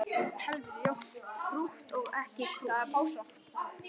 Krútt og ekki krútt.